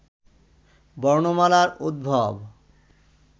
বর্ণমালার উদ্ভব